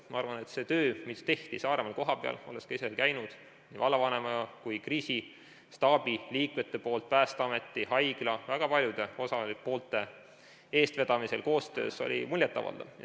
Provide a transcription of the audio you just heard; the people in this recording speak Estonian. Ma arvan, et see töö, mis tehti Saaremaal kohapeal – olen ka ise seal käinud – nii vallavanema kui ka kriisistaabi liikmete poolt, Päästeameti, haigla, väga paljude osalenud poolte eestvedamisel ja koostöös, oli muljet avaldav.